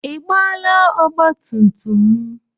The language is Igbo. Ị gbaala ọgbatumtum m?